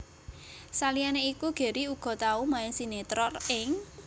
Saliyané iku Gary uga tau main sinetron ing